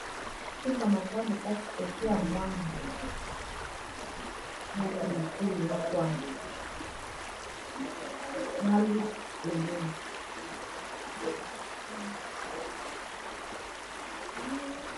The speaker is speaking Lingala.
Soupe ya makayabu kati kotia mwamba, na pili pili na kwanga na lutu pembeni.